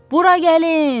Bura gəlin!